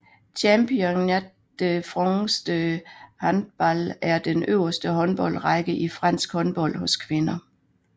Championnat de France de Handball er den øverste håndboldrække i fransk håndbold hos kvinder